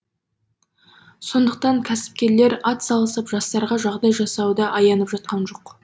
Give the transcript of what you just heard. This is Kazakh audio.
сондықтан кәсіпкерлер атсалысып жастарға жағдай жасауда аянып жатқан жоқ